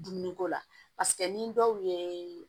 Dumuniko la paseke ni dɔw ye